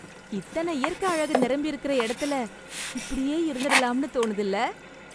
இத்தன இயற்க அழகு நிரம்பியிருக்கற இடத்துல, இப்டியே இருந்துடலாம்னு தோணுதுல்ல..